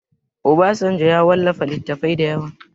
Obasanjo ya wallafa littattafai da yawa